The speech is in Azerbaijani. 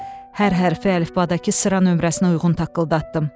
Hər hərfi əlifbadakı sıra nömrəsinə uyğun taqqıldatdım.